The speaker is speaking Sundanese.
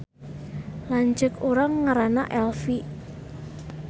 Lanceuk urang ngaranna Elfi